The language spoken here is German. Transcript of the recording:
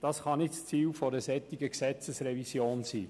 Das kann nicht das Ziel einer solchen Gesetzesrevision sein.